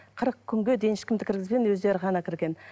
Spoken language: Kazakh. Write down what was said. қырық күнге дейін ешкімді кіргізбеген өздері ғана кірген